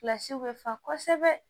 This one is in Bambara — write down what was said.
Kilasiw bɛ fa kosɛbɛ